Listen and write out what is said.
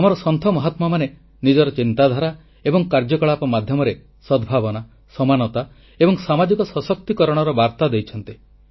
ଆମର ସନ୍ଥ ମହାତ୍ମାମାନେ ନିଜର ଚିନ୍ତାଧାରା ଏବଂ କାର୍ଯ୍ୟକଳାପ ମାଧ୍ୟମରେ ସଦ୍ଭାବନା ସମାନତା ଏବଂ ସାମାଜିକ ସଶକ୍ତିକରଣର ବାର୍ତ୍ତା ଦେଇଛନ୍ତି